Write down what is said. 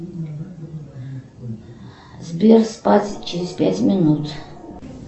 сбер спать через пять минут